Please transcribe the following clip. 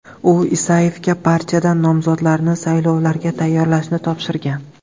U Isayevga partiyadan nomzodlarni saylovlarga tayyorlashni topshirgan.